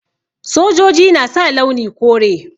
Sojoji na sa launi kore.